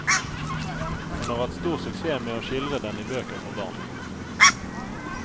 Hun har hatt stor suksess med å skildre den i bøker for barn.